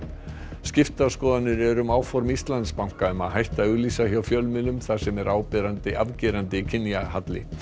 skiptar skoðanir eru um áform Íslandsbanka um að hætta að auglýsa hjá fjölmiðlum þar sem er afgerandi afgerandi kynjahalli